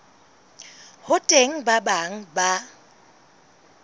ho teng ba bang ba